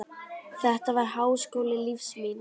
Þetta var háskóli lífs míns.